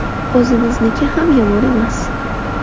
O‘zimizniki ham yomon emas.